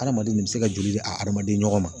Adamaden le be se ka joli di a adamaden ɲɔgɔn ma